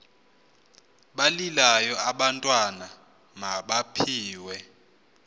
balilayo abantwana mabaphiwe